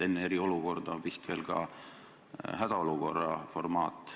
Enne eriolukorda on vist veel ka hädaolukorra formaat.